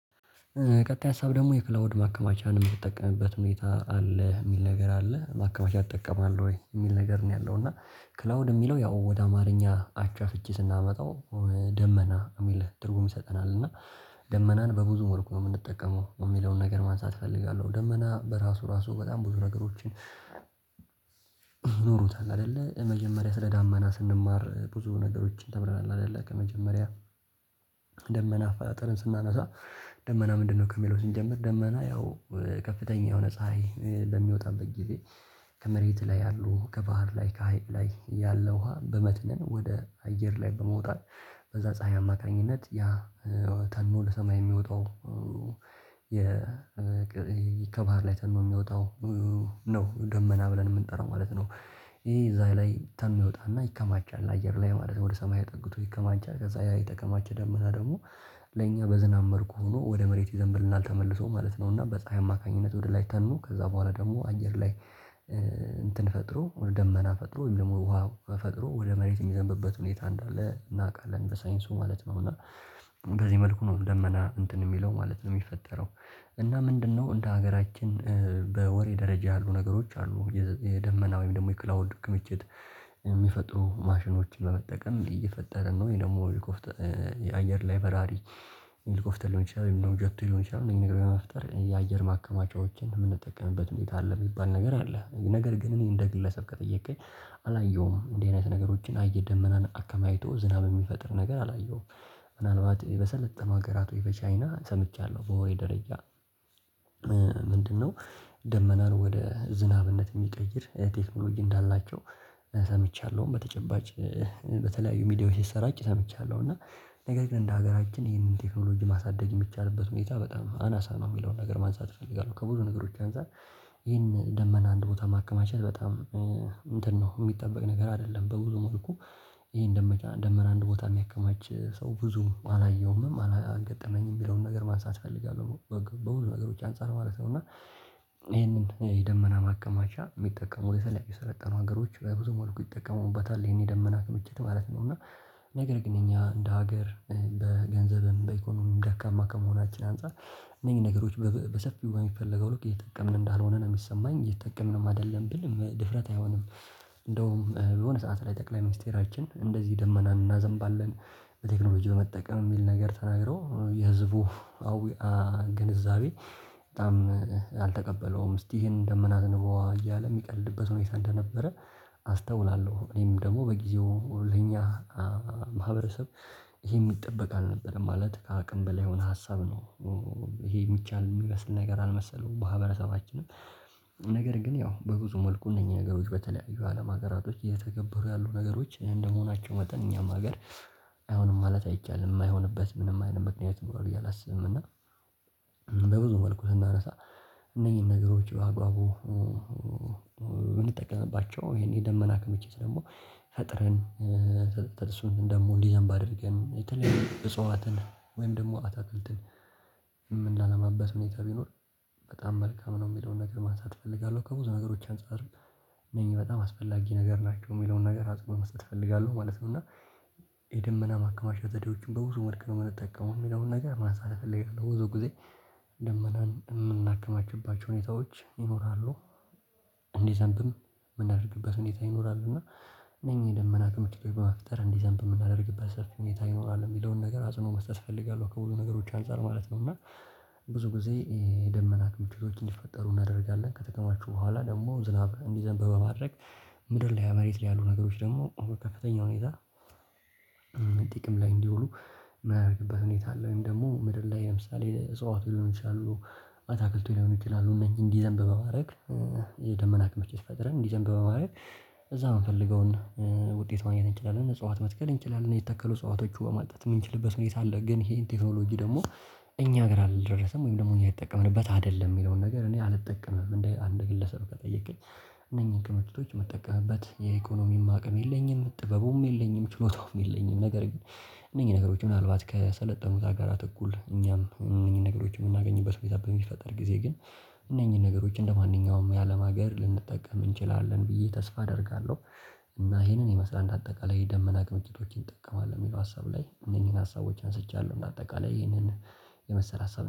ቀጣይ ሀሳብ ደሞ የክላውድ ማከማቻን የምትጠቀምበት ሁኔታ አለ የሚል ነገር አለ ማከማቻ ይጠቀማል ወይ የሚል ነገር ነው? ያለው እና ክላውድ የሚለው ያው ወደ አማርኛ አቻ ፍቺ ስናመጣው ደመና የሚል ትርጉም ይሰጠናል። እና ደመናን በብዙ ወርቅ ነው የምንጠቀመው የሚለውን ነገር ማንሳት እፈልጋለሁ። ደመና በራሱ ራሱ በጣም ብዙ ነገሮችን ኖሮታል። አይደለ መጀመሪያ ስለ ዳመና ስንማር ብዙ ነገሮችን ተብለናል አይደለ ከመጀመሪያ። ደመና ኣፈጣጠርን ስናነሳ ደመና ምንድነው? ከሚለው ስንጀምር ደመና ያው ከፍተኛ የሆነ ፀሀይ በሚወጣበት ጊዜ ከመሬት ላይ ያሉ ከባህር ላይ ከሀይቅ ላይ ያለ ውሃ በመትነን ወደ አየር ላይ በመውጣት በዛ ፀሀይ አማካኝነት ያ ተኖ ለሰማይ የሚወጣው የ ከባህር ላይ ተንኖ ነው የሚወጣው ነው ደመና ብለን የምንጠራው ማለት ነው። ይሄ እዛ ላይ ተኖ ይወጣልና ይከማቻል አየር ላይ ማለት ወደ ሰማይ አጥግቶ ይከማቻል ከዛ ያ የጠቀማችሁ ደመና ደግሞ ለእኛ በዝናብ መልኩ ሆኖ ወደ መሬት ይዘንብልናል ተመልሶ ማለት ነው። እና በፀሀይ አማካኝነት ወደ ላይ ተኖ ከዛ በኋላ ደግሞ አየር ላይ እንትን ፈጥሮ ወደ ደመና ፈጥሮ ወይም ደሞ ውሃ ፈጥሮ ወደ መሬት የሚዘንብበት ሁኔታ እንዳለ እናውቃለን በሳይንሱ ማለት ነው። እና በዚህ መልኩ ነው ደመና እንትን እሚለው ማለት ነው የሚፈጠረው እና ምንድነው? እንደ ሀገራችን በወሬ ደረጃ ያሉ ነገሮች አሉ የደመና ወይም ደግሞ የክላውንድ ክምችት የሚፈጥሩ ማሽኖች በመጠቀም እየፈጠርን ነው ወይ ደሞ ኤልጎፍተር አየር ላይ በራሪ የኤልኮፍተር ሊሆን ይችላል ወይም ደሞ ጀቶ ሊሆን ይችላል እኔ ነገር በመፍጠር የአየር ማከማቻዎችን የምንጠቀምበት ሁኔታ ኣለ የሚባል ነገር አለ። ነገር ግን እኔ እንደ ግለሰብ ከጠየቅከኝ አላየሁም እንደዚህ አይነት ነገሮችን አየ ደመናን አከማችቶ ዝናብ የሚፈጥር ነገር አላየሁም። ምናልባት በሰለጠነ ሀገራት ወይ በቻይና ሰምቻለሁ በወሬ ደረጃ ምንድነው? ደመናን ወደ ዝናብነት እሚቀይር ቴክኖሎጂ እንዳላቸው ሰምቻለሁም በተጨባጭ በተለያዩ ሚዲያዎች ሲሰራጭ ሰምቻለሁ። እና ነገር ግን እንደ ሀገራችን ይህንን ቴክኖሎጂ ማሳደግ የሚቻልበት ሁኔታ በጣም አናሳ ነው እሚለው ነገር ማንሳት እፈልጋለሁ። ከብዙ ነገሮች አንፃር ይሄን ደመና አንድ ቦታ ማከማቸት በጣም እንትን ነው የሚጠበቅ ነገር አይደለም በብዙ መልኩ ይሄን ደመቻ ደመና አንድ ቦታ የሚያከማች ሰው ብዙም አላየውምም አላገጠመኝም ሚለውም ነገር ማንሳት እፈልጋለሁ በሁሉም ነገሮች አንፃር ማለት ነው። እና ይሄንን የደመና ማካማቻ የሚጠቀሙ የተለያዩ የሰለጠኑ ሀገሮች በብዙ መልኩ ይጠቀሙበታል ይሄን የደመና ክምችት ማለት ነው እና ነገር ግን እኛ እንደ ሀገር በገንዘብም በኢኮኖሚም ደካማ ከመሆናችን አንፃር እነዚህ ነገሮች በሰፊው በሚፈለገው ልክ እየተጠቀምን እንዳልሆንን ነው የሚሰማኝ እየተጠቀምንም አይደለም ብል ድፍረት አይሆንም። እንደውም በሆነ ሰዓት ላይ ጠቅላይ ሚኒስቴራችን እንደዚህ ደመና እናዘምባለን በቴክኖሎጂ በመጠቀም የሚል ነገር ተናግረው የህዝቡ ኣዊኣ ግንዛቤ በጣም አልተቀበለውም እስቲ ይሄን ደመና ኣዝንበዋ እያለ እሚቀልድበት ሆኔታ እንደነበረ አስተውላለሁ። እኔም ደሞ በጊዜው ለኛ ማህበረሰብ ይሄ የሚጠበቅ አልነበረም ማለት ከአቅም በላይ የሆነ ሀሳብ ነው። ይሄ የሚቻል የሚበስል ነገር አልመሰለውም ማህበረ ሰባችንም ነገር ግን ያው በብዙ መልኩ እነኚህ ነገሮች በተለያዩ አለም ሀገራቶች እየተገበሩ ያሉ ነገሮች እንደመሆናቸው መጠን እኛም ሀገር አይሆንም ማለት አይቻልም የማይሆንበት ምንም አይነት ሆንበት ምክንያት ይሮራል ብየ ኣላስብም። እና በብዙ መልኩ ስናነሳ እነኚህን ነገሮች በአግባቡ የምንጠቀምባቸው ይሄን የደመና ክምችት ደሞ ፈጥረን ርሱን ደሞ እንዲህ በደንብ አድርገን የተለየ እጽዋትን ወይም ደሞ አታክልትን የምናላማበት ሁኔታ ቢኖር በጣም መልካም ነው የሚለውን ነገር ማንሳት እፈልጋለሁ። ከብዙ ነገሮች አንፃር እነኚህ በጣም አስፈላጊ ነገር ናቸው የሚለውን ነገር ኣፅንዖት መስጠት እፈልጋለሁ ማለት ነው። እና የደመና ማከማሸት ዜዴዎቹ በብዙ መልኩ ነው የምንጠቀመው የሚለውን ነገር ማሳለፍ እፈልጋለሁ። በብዙ ጊዜ ደመናን የምናከማችባቸው ሁኔታዎች ይኖራሉ እንዲዘንብም ምናድርግበት ሁኔታ ይኖራል እና እነኚህን ደመና ክምችት በመፍጠር እንዲዘንብ የምናደርግበት ሰፊ ሁኔታ ይኖራል የሚለውን ነገር አጽኖኦ መስጠት እፈልጋለሁ ከብዙ ነገሮች አንፃር ማለት ነው። እና ብዙ ጊዜ የደመና ክምችቶችን እንዲፈጠሩ እናደርጋለን ከተከማችሁ በኋላ ደግሞ ዝናብ እንዲዘንብ በማድረግ ምድር ላይ መሬት ላይ ያሉ ነገሮች ደሞ በከፍተኛ ሁኔታ ጥቅም ላይ እንዲውሉ የምናረግበት ሁኔታ አለ። ወይም ደሞ ምድር ላይ ለምሳሌ እጽዋት ሊሆን ይችላሉ አታክልቱ ሊሆኑ ይችላሉ እነኚ እንዲዘንብ በማረግ የደመና ክምችት ፈጥረን እንዲዘንብ በማረግ እዛ እምፈልገውን ውጤት ማግኘት እንችላለን። እጽዋት መትከል እንችላለን የተከሉ እጽዋቶቹ ውሃ ማጠጣት የምንችልበት ሁኔታ አለ። ግን ይሄን ቴክኖሎጂ ደሞ እኛ ሀገር አልደረሰም ወይም ደግሞ እኛ የምንጠቀምበት አይደለም የሚለውን ነገር እኔ አልጠቀምም እንደ አንድ ግለሰብ ከጠየከኝ እነኚህን ክምችቶች የምጠቀምበት የኢኮኖሚም አቅም የለኝም ጥበቡም የለኝም ችሎታውም የለኝም። ነገር ግን እነኚህ ነገሮች ምናልባት ከሰለጠኑት አጋራት እኩል እኛም እነኚህ ነገሮች የምናገኝበት ሁኔታ በሚፈጠር ጊዜ ግን እነኚህን ነገሮች እንደማንኛውም የአለም ሀገር ልንጠቀም እንችላለን ብዬ ተስፋ አደርጋለሁ። እና ይሄንን ይመስላል እንደ አጠቃላይ የደመና ክምችቶችን ይጠቀማል ለሚለው ሀሳብ ላይ እነኚህን ሀሳቦች አንስቻለሁ በአጠቃላይ ይህንን የመሰለ ሀሳብ